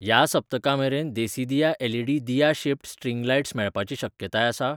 ह्या सप्तका मेरेन देसीदिया एलईडी दिया शेप्ड स्ट्रिंग लायट्स मेळपाची शक्यताय आसा ?